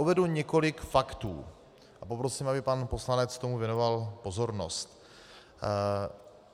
Uvedu několik faktů a poprosím, aby pan poslanec tomu věnoval pozornost.